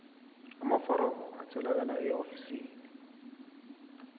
amaforomo atholakala eofisini